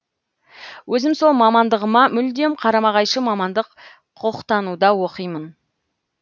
өзім сол мамандығыма мүлдем қарама қайшы мамандық құқықтануда оқимын